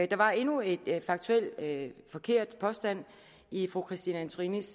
der var endnu en faktuelt forkert påstand i fru christine antorinis